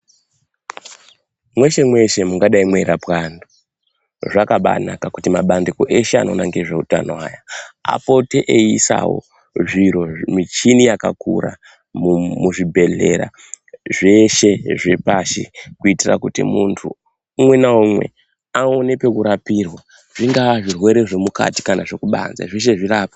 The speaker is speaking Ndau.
Mweshe mweshe mungadai mweirapwa antu zvakabanaka kuti mabandiko eshe anoona ngezveutano aya apote eiisawo zviro michini yakakura muzvibhehlera zveshe zvepashi kuitira kuti muntu umwe naumwe aone pekurapirwa, zvingaa zvirwere zvemukati kana zvekubanze zveshe zvirapwe.